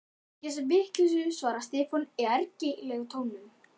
ekki þessa vitleysu, svaraði Stefán í ergilega tóninum.